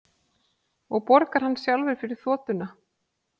Og borgar hann sjálfur fyrir þotuna